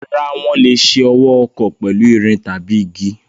Rárá, wọ́n lè ṣe ọwọ́ ọkọ́ pẹ̀lú irin tàbí igi.